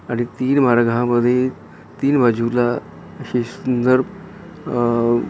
आणि तीन मार्गा मध्ये तीन बाजूला असे सुंदर अहं अहं बल्क --